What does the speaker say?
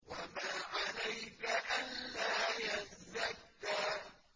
وَمَا عَلَيْكَ أَلَّا يَزَّكَّىٰ